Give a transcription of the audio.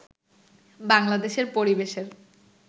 বাংলাদেশের পরিবেশের